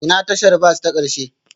Ina tashar bas ta ƙarshe?